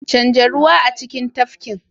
Canja ruwa a cikin tafkin.